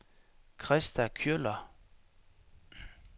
Krista Kjøller